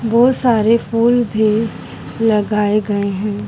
बहुत सारे फूल भी लगाए गए हैं।